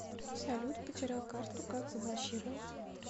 салют потерял карту как заблокировать